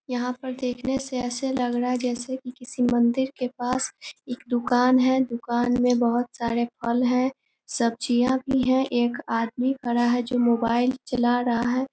यहां पर देखने से ऐसा लग रहा है जैसे कि किसी मंदीर के पास एक दुकान है दुकान में बहुत सारे फल है सब्जियां भी है एक आदमी पड़ा है जो मोबाइल चला रहा है।